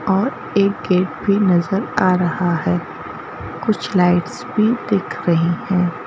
और एक गेट भी नजर आ रहा है कुछ लाइट्स भी दिख रही हैं।